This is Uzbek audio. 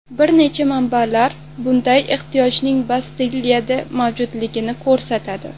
Bir necha manbalar bunday ehtiyojning Bastiliyada mavjudligini ko‘rsatadi.